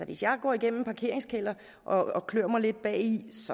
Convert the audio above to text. hvis jeg går igennem en parkeringskælder og klør mig lidt bag i